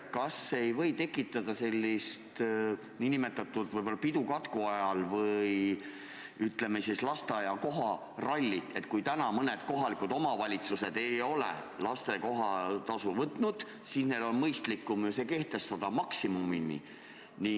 Kas see ei või tekitada sellist pidu katku ajal ehk lasteaia kohatasu rallit: kui praegu mõned kohalikud omavalitsused ei ole lasteaia kohatasu võtnud, siis nüüd on neil ehk mõistlikum see kehtestada maksimummääras?